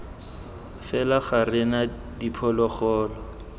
fela ga re na diphologolo